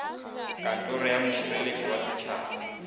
kantoro ya mošireletši wa setšhaba